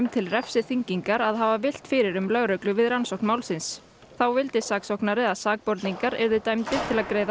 til refsiþyngingar að hafa villt um fyrir lögreglu við rannsókn málsins þá vildi saksóknari að sakborningar yrðu dæmdir til að greiða